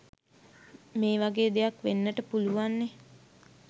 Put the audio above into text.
මේ වගේ දෙයක් වෙන්නට පුළුවන්නේ.